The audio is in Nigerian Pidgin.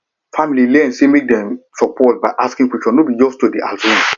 family learn say make dem support by asking questions no be just to dey assume